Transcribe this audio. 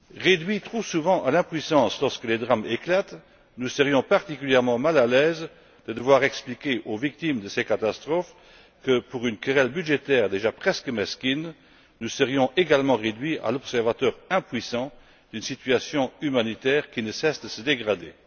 Réduits trop souvent à l'impuissance lorsque les drames éclatent, nous serions particulièrement mal à l'aise de devoir expliquer aux victimes de ces catastrophes que, pour une querelle budgétaire presque mesquine, nous serions également réduits au rôle d'observateurs impuissants d'une situation humanitaire qui ne cesse de se dégrader.